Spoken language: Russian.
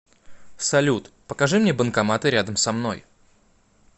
салют покажи мне банкоматы рядом со мной